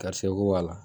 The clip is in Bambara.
Karisa ko wa